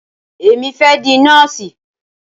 Èmi fẹ́ di nọ́ọ̀sì.